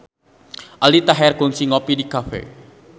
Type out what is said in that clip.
Aldi Taher kungsi ngopi di cafe